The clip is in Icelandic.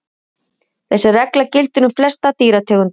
Þessi regla gildir um flestar dýrategundir.